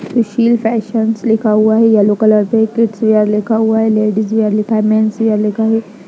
सुशील fashions लिखा हुआ है येल्लो कलर से किड्स वियर लिखा हुआ है लेडीज वियर लिखा है मेंस वियर लिखा है।